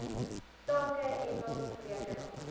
sake engels rekenaars